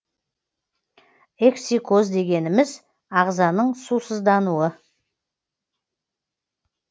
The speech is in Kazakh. эксикоз дегеніміз ағзаның сусыздануы